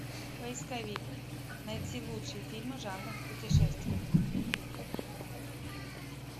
поисковик найти лучшие фильмы жанра путешествия